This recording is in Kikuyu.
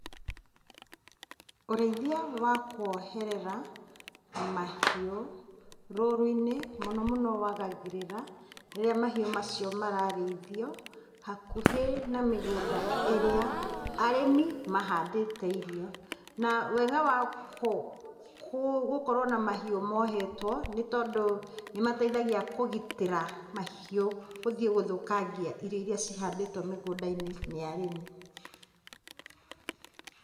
Ũrĩithia wa kuoherera mahiũ rũru-inĩ mũno mũno wagagĩrĩra, rĩrĩa mahiũ macio mararĩithio, hakuhĩ na mĩgũnda ĩrĩa arĩmi mahandĩte irio, na wega wa gũkorwo na mahiũ mohetwo, nĩ tondũ nĩ mateithagia kũgitĩra mahiũ gũthũkangia irio iria cihandĩtwo mĩgũnda-inĩ nĩ arĩmi.